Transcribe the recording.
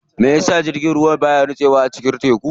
Meyasa jirgin ruwa baya nitsewa a cikin teku?